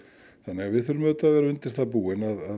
þannig að við þurfum að vera undir það búin að